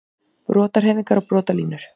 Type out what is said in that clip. Brotahreyfingar og brotalínur